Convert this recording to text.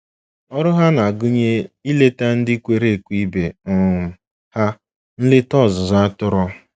Ọrụ ha na-agụnye ileta ndị kwere ekwe ibe um ha nleta ọzụzụ atụrụ.